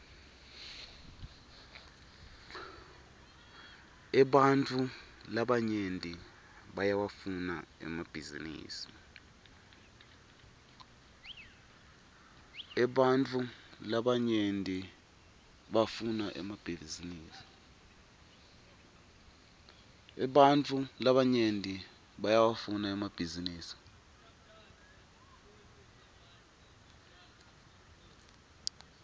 ebantfu labanyenti bayawafuna emabhisinisi